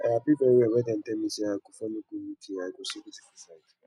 i happy very well wen dey tell me say i go follow go uk i go see beautiful sights